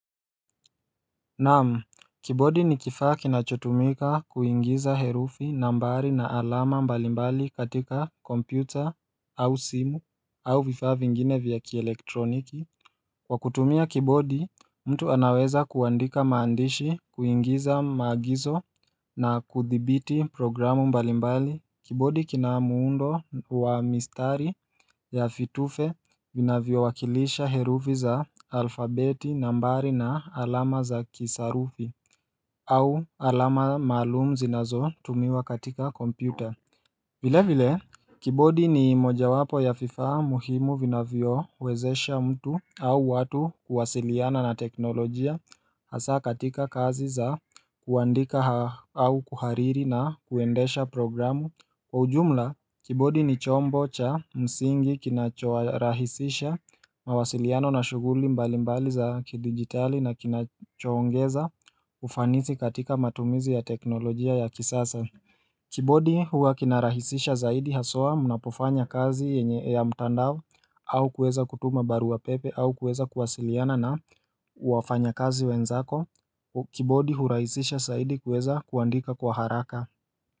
Naam, kibodi ni kifa kinachotumika kuingiza herufi nambari na alama mbalimbali katika kompyuta au simu au vifaa vingine vya kielektroniki Kwa kutumia kibodi mtu anaweza kuandika maandishi kuingiza maagizo na kuthibiti programu mbalimbali Kibodi kina muundo wa mistari ya fitufe vinavyowakilisha herufi za alfabeti nambari na alama za kisarufi au alama maalum zinazotumiwa katika kompyuta vile vile Kibodi ni mojawapo ya vifaa muhimu vinavyowezesha mtu au watu kuwasiliana na teknolojia Hasa katika kazi za kuandika au kuhariri na kuendesha programu Kwa ujumla, kibodi ni chombo cha msingi kinachorahisisha mawasiliano na shughuli mbali mbali za kidigitali na kinachoongeza ufanisi katika matumizi ya teknolojia ya kisasa Kibodi huwa kinarahisisha zaidi haswa mnapofanya kazi yenye ya mtandao au kuweza kutuma barua pepe au kuweza kuwasiliana na wafanyakazi wenzako, kibodi hurahisisha zaidi kuweza kuandika kwa haraka.